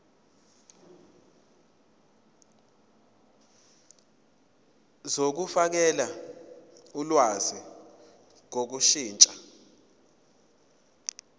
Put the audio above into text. zokufakela ulwazi ngokushintsha